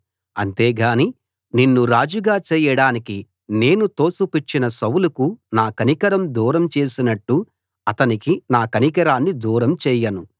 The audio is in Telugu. అంతే గాని నిన్ను రాజుగా చేయడానికి నేను తోసిపుచ్చిన సౌలుకు నా కనికరం దూరం చేసినట్టు అతనికి నా కనికరాన్ని దూరం చేయను